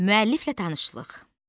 Müəlliflə tanışlıq.